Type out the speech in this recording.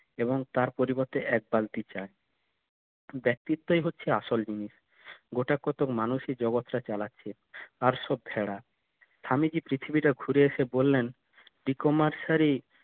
এবং তার পরিবর্তে এক বালতি চায় ব্যক্তিত্বই হচ্ছে আসল জিনিস গোটা কত মানুষই জগৎ টা চালাচ্ছে আর সব খ্যারা স্বামীজি পৃথিবীটা ঘুরে এসে বললেন বিকমার্সারি